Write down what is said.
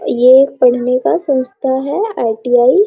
ये पढ़ने का संस्था है आई.टी.आई. ।